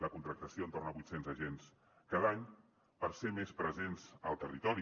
la contractació entorn a vuit cents agents cada any per ser més presents al territori